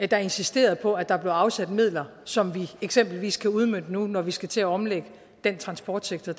der insisterede på at der blev afsat midler som vi eksempelvis kan udmønte nu når vi skal til at omlægge den transportsektor